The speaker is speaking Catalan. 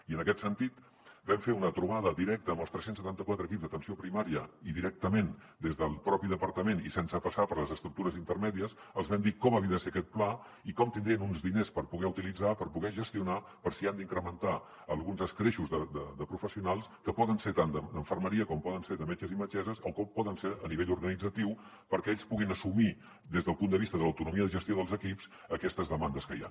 i en aquest sentit vam fer una trobada directa amb els tres cents i setanta quatre equips d’atenció primària i directament des del propi departament i sense passar per les estructures intermèdies els vam dir com havia de ser aquest pla i com tindrien uns diners per poder utilitzar per poder gestionar per si han d’incrementar alguns escreixos de professionals que poden ser tant d’infermeria com poden ser de metges i metgesses o com poden ser a nivell organitzatiu perquè ells puguin assumir des del punt de vista de l’autonomia de gestió dels equips aquestes demandes que hi ha